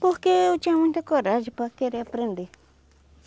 Porque eu tinha muita coragem para querer aprender.